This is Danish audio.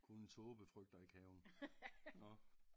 Kun en tåbe frygter ikke have nåh